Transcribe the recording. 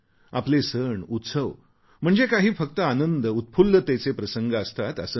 आपले सण उत्सव म्हणजे काही फक्त आनंदउत्फुल्लतेचे प्रसंग असतात असे नाही